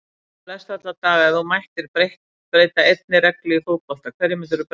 Flest alla daga Ef þú mættir breyta einni reglu í fótbolta, hverju myndir þú breyta?